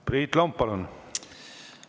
Priit Lomp, palun!